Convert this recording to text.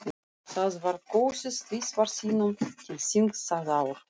Það var kosið tvisvar sinnum til þings það ár.